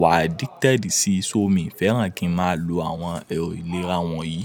wá addicted sí iso, mi ò fẹ́ràn kí n máa lo àwọn ẹ̀rọ ìlera wọ̀nyí.